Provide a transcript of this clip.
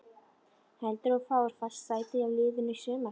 Heldurðu að þú fáir fast sæti í liðinu í sumar?